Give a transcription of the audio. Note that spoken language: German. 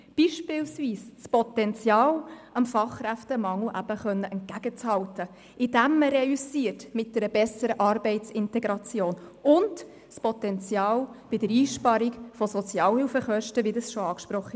Beispielsweise das Potenzial, dem Fachkräftemangel eben etwas entgegenhalten zu können, indem man mit einer besseren Arbeitsintegration reüssiert, und das Potenzial bei der Einsparung von Sozialhilfekosten, wie bereits angesprochen.